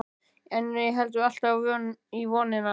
En við héldum alltaf í vonina.